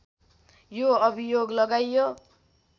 यो अभियोग लागाइयो